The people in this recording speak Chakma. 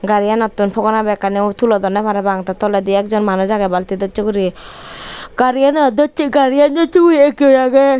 gariganottun phogona bekkani tulodonne parapang te toledi ek jon manuj aage balti doschi guri gari gari gan doschi guri ek jon aage.